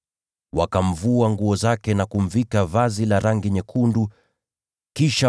Wakamvua nguo zake na kumvika vazi la rangi nyekundu, kisha